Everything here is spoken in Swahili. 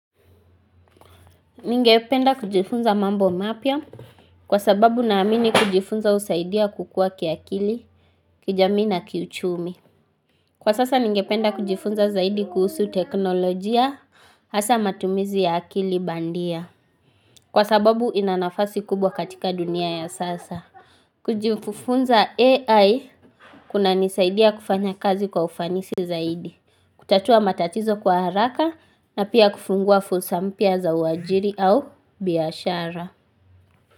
Ningependa kujifunza mambo mapya kwa sababu na amini kujifunza usaidia kukua kiakili, kijamii na kiuchumi. Kwa sasa ningependa kujifunza zaidi kuhusu teknolojia hasa matumizi ya akili bandia kwa sababu inanafasi kubwa katika dunia ya sasa. Kujifunza AI kuna nisaidia kufanya kazi kwa ufanisi zaidi. Kutatua matatizo kwa haraka na pia kufungua fulsampya za uajiri au biashara.